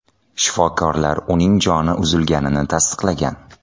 Shifokorlar uning joni uzilganini tasdiqlagan.